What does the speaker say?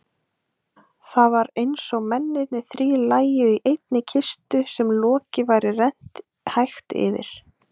Það var einsog mennirnir þrír lægju í einni kistu sem loki væri rennt hægt yfir.